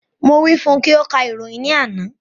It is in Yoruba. Mo wí fún ùn kí o ka ìròyìn ní àná